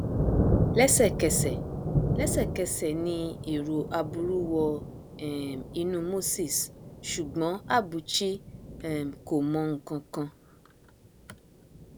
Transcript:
lẹsẹkẹsẹ lẹsẹkẹsẹ ni èrò aburú wọ um inú moses ṣùgbọn abuchi um kò mọ nǹkan kan